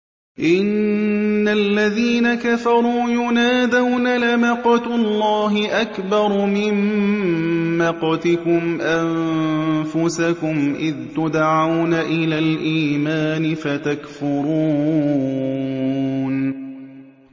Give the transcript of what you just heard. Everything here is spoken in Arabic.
إِنَّ الَّذِينَ كَفَرُوا يُنَادَوْنَ لَمَقْتُ اللَّهِ أَكْبَرُ مِن مَّقْتِكُمْ أَنفُسَكُمْ إِذْ تُدْعَوْنَ إِلَى الْإِيمَانِ فَتَكْفُرُونَ